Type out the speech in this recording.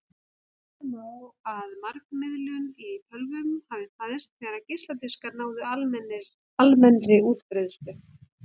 Segja má að margmiðlun í tölvum hafi fæðst þegar geisladiskar náðu almennri útbreiðslu.